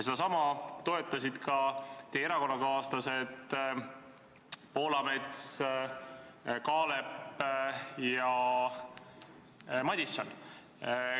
Seda toetasid teie erakonnakaaslased Poolamets, Kaalep ja Madison.